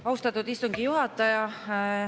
Austatud istungi juhataja!